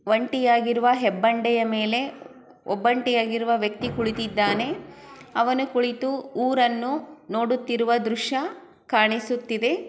ಒಂಟಿಯಾಗಿರುವ ಹೆಬ್ಬಂಡಿಯ ಮೇಲೆ ಒಬ್ಬಂಟಿಯಾಗಿರುವ ವ್ಯಕ್ತಿ ಕುಳಿತಿದ್ದಾನೆ ಅವನು ಕುಳಿತು ಊರನ್ನು ನೋಡುತ್ತಿರುವ ದೃಶ್ಯ ಕಾಣಿಸುತ್ತಿದೆ.